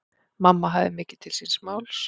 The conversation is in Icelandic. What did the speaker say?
Mamma hafði mikið til síns máls.